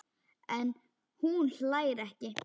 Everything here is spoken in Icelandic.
En hún hlær ekki.